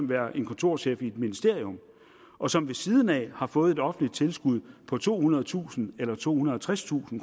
være en kontorchef i et ministerium og som ved siden af har fået offentligt tilskud på tohundredetusind tohundrede og tredstusind